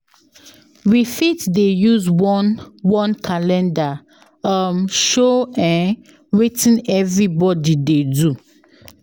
If we dey talk about our daily plans, e go help us live well together.